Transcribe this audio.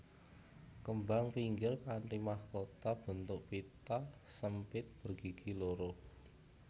Kembang pinggir kanthi mahkota bentuk pita sempit bergigi loro